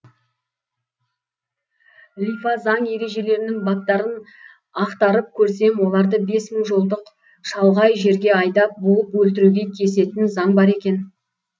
лифа заң ережелерінің баптарын ақтарып көрсем оларды бес мың жолдық шалғай жерге айдап буып өлтіруге кесетін заң бар екен